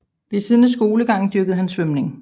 Ved siden af skolegangen dyrkede han svømning